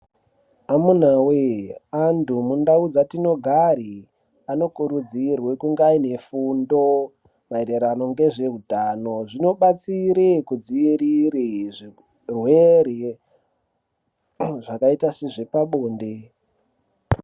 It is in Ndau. Amunawee, antu mundau dzatinogare anokurudzirwe kunga anefundo maererano ngezveutano zvinobatsire zvirwere zvakaita sezvepabonde.